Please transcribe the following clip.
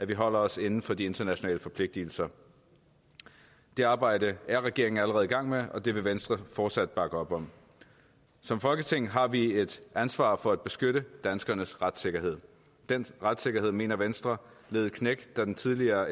vi holder os inden for de internationale forpligtelser det arbejde er regeringen allerede i gang med og det vil venstre fortsat bakke op om som folketing har vi et ansvar for at beskytte danskernes retssikkerhed den retssikkerhed mener venstre led et knæk da den tidligere